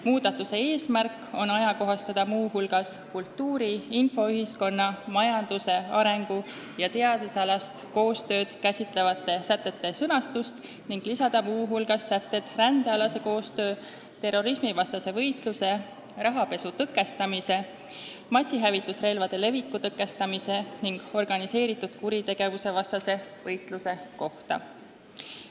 Muudatuse eesmärk on ajakohastada muu hulgas kultuuri-, infoühiskonna-, majandusarengu- ja teadusalast koostööd käsitlevate sätete sõnastust ning lisada muu hulgas sätted rändealase koostöö, terrorismivastase võitluse, rahapesu tõkestamise, massihävitusrelvade leviku tõkestamise ning organiseeritud kuritegevuse vastase võitluse kohta.